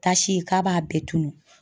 Tasi k'a b'a bɛɛ tunun.